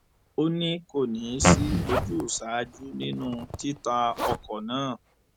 ó ní kò ní í sí ojúsàájú nínú títa ọkọ náà